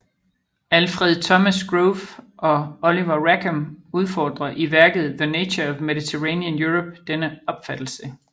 Alfred Thomas Grove og Oliver Rackham udfordrer i værket The Nature of Mediterranean Europe denne opfattelse